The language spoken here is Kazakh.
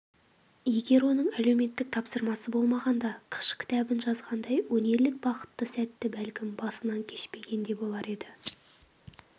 егер оның әлуметтік тапсырысы болмағанда қыш кітабын жазғандағыдай өнерлік бақытты сәтті бәлкім басынан кешпеген де болар еді